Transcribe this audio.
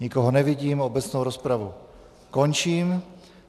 Nikoho nevidím, obecnou rozpravu končím.